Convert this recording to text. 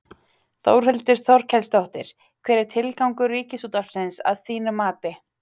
Þórhildur Þorkelsdóttir: Hver er tilgangur Ríkisútvarpsins að þínu mati?